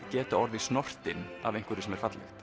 geta orðið snortinn af einhverju sem er fallegt